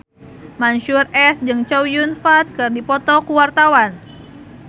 Mansyur S jeung Chow Yun Fat keur dipoto ku wartawan